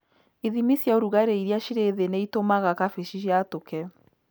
Ithimi cia ũrugarĩ irĩa cirĩ thĩ nĩ itũmaga kabici yatũke.